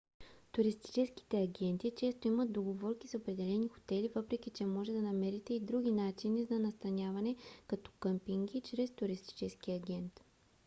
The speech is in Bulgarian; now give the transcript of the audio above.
туристическите агенти често имат договорки с определени хотели въпреки че може да намерите и други начини на настаняване като къмпинги чрез туристически агент